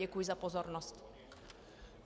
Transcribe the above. Děkuji za pozornost.